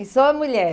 E só mulher?